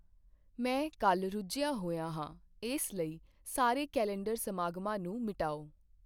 ਮੈਂ ਕੱਲ੍ਹ ਰੁੱਝਿਆ ਹੋਇਆ ਹਾਂ ਇਸ ਲਈ ਸਾਰੇ ਕੈਲੰਡਰ ਸਮਾਗਮਾਂ ਨੂੰ ਮਿਟਾਓ